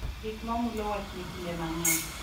Gik ma mulo wachni kinde mang’eny